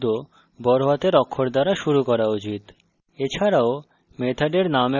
এবং অনুসৃত সকল নতুন শব্দ বড় হাতের অক্ষর দ্বারা শুরু করা উচিত